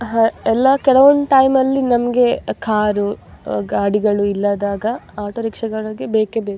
ಅಹ್ ಕೆಲವೊಂದು ಟೈಮ್ ಯಲ್ಲಿ ನನಗೆ ಕಾರು ಗಾಡಿಗಳು ಇಲ್ಲದಾಗ ಆಟೋ ರಿಕ್ಷಾ ಗಳು ಬೇಕೇ ಬೇಕು.